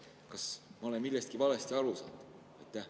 Kas ma olen millestki valesti aru saanud?